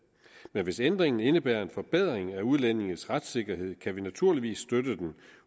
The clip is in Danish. men hvis ændringen indebærer en forbedring af udlændinges retssikkerhed kan vi naturligvis støtte den